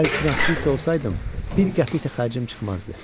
Əgər kinoaktrisa olsaydım, bir qəpik də xərcim çıxmazdı.